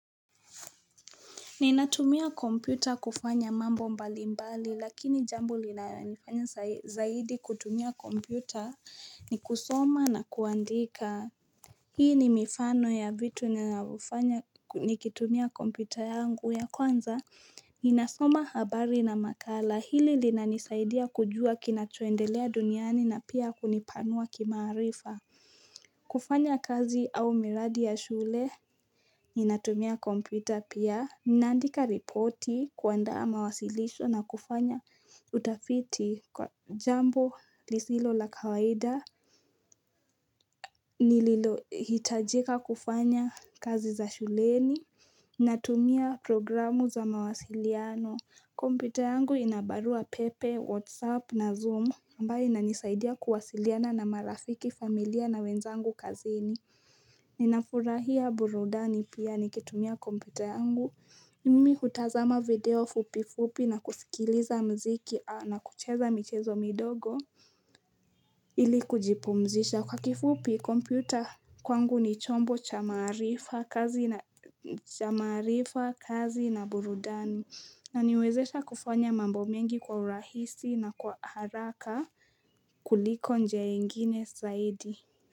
Ninatumia kompyuta kufanya mambo mbali mbali lakini jambo linanifanya zaidi kutumia kompyuta ni kusoma na kuandika. Hii ni mifano ya vitu ninayofanya kitumia kompyuta yangu ya kwanza. Ninasoma habari na makala hili linanisaidia kujua kina choendelea duniani na pia kunipanua kimaarifa. Kufanya kazi au miradi ya shule. Ninatumia kompyuta pia. Ninaandika repoti kuandaa mawasilisho na kufanya utafiti kwa jambo lisilo la kawaida. Nililo hitajika kufanya kazi za shuleni. Natumia programu za mawasiliano. Kompyuta yangu inabarua pepe, whatsapp na zoom. Ambayo inanisaidia kuwasiliana na marafiki familia na wenzangu kazini. Ninafurahia burudani pia nikitumia kompyuta yangu. Mimi hutazama video fupifupi na kusikiliza mziki na kucheza michezo midogo Ili kujipumzisha kwa kifupi kompyuta kwangu ni chombo cha maarifa kazi na burudani inaniwezesha kufanya mambo mengi kwa urahisi na kwa haraka kuliko njia ingine zaidi.